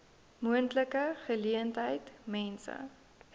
moontlike geleentheid mense